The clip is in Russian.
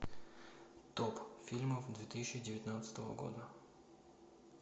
топ фильмов две тысячи девятнадцатого года